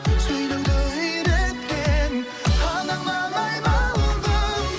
сөйлеуді үйреткен анаңнан айналдым